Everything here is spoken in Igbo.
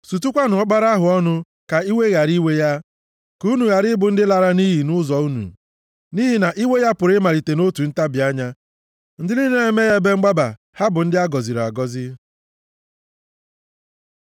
Sutukwanụ Ọkpara ahụ ọnụ ka iwe ghara iwe ya, ka unu ghara ị bụ ndị a lara nʼiyi nʼụzọ unu. Nʼihi na iwe ya pụrụ ịmalite nʼotu ntabi anya. Ndị niile na-eme ya ebe mgbaba ha bụ ndị a gọziri agọzi.